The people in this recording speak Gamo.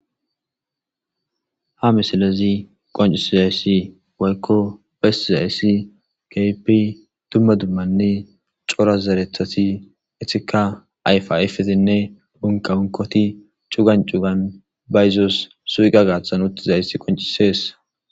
Ha misilezi qoncisi zayssi woykko besi zayssi kaypi dumma dummanne cora zeretati itika ayfa ifetinne bunkaunkoti cugan cugan bayzos suuqa gaathan utti zayss qoncisees.